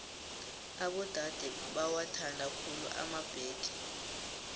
abodade bowathanda khulu emabhege